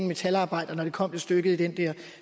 metalarbejder når det kommer til stykket i den der